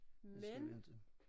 Det skal vi inte